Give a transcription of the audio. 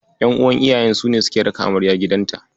Ƴan'uwan iyayen su ne suke raka amarya gidanta.